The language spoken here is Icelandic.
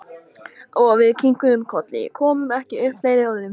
Og við kinkuðum kolli, komum ekki upp fleiri orðum.